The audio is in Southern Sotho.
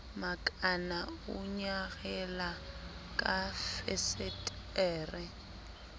makana o nyarela ka fesetere